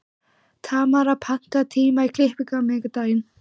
Tamara, pantaðu tíma í klippingu á miðvikudaginn.